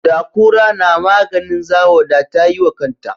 Da kura namaganin zawo da ta yi wa kanta